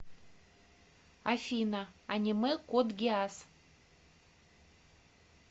афина аниме код гиас